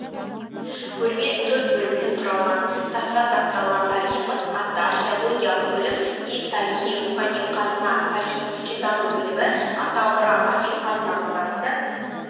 көрме төрт бөлімнен құралған таста сақталған тарихымыз атты археологиялық бөлім ел тарихы рухани қазына тарихи-өлкетану бөлімі ата мұра асыл қазынамыз атты